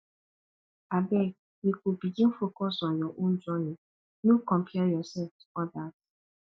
abeg you go begin focus on your own journey no compare yourself to odas